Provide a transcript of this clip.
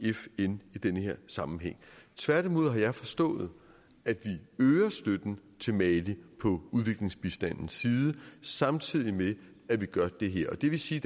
fn i den her sammenhæng tværtimod har jeg forstået at vi øger støtten til mali på udviklingsbistandens side samtidig med at vi gør det her det vil sige